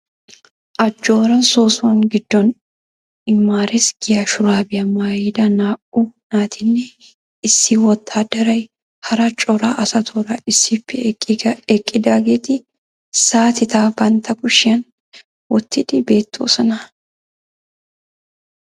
Ajoora soossuwa giddon imaares giya shuraabiya maayida naa'u naatinne issi wotaadaray hara cora asatuura issippe eqqidaageeti saatita bantta kushshiyan wottidi beetoososna.